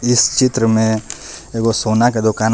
जिस चित्र में एगो सोना क दुकान--